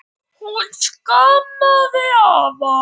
Hún saknaði afa.